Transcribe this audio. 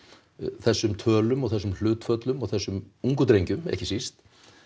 þessum tölum og þessum hlutföllum og þessum ungu drengjum ekki síst